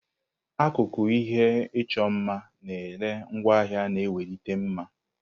Akụkụ ihe ịchọ mma na-ere ngwaahịa na-ewelite mma.